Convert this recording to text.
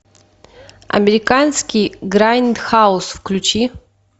американский грайндхаус включи